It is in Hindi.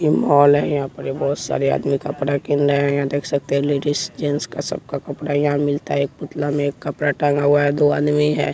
ये मॉल है यहाँ पर ये बहोत सारे आदमी कपड़ा किन रहे है यहाँ देख सकते है लेडिस जेंट्स का सब का कपड़ा यहाँ मिलता है एक पुतला में कपड़ा टांगा हुआ है दो आदमी है।